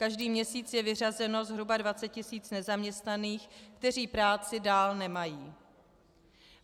Každý měsíc je vyřazeno zhruba 20 tisíc nezaměstnaných, kteří práci dál nemají.